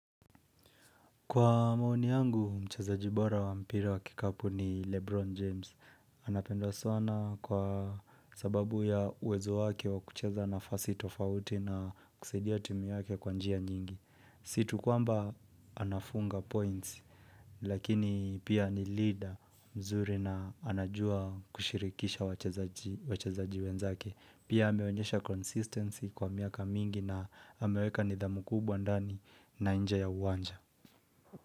Kwa maoni yangu, mchezaji bora wa mpira wa kikapu ni Lebron James. Anapendwa sana kwa sababu ya uwezo wake wakucheza nafasi tofauti na kusidia timu yake kwa njia nyingi. Si tu kwamba anafunga points, lakini pia ni leader mzuri na anajua kushirikisha wachazaji wenzake. Pia ameonyesha consistency kwa miaka mingi na ameweka nidhamu kubwa ndani na nje ya uwanja.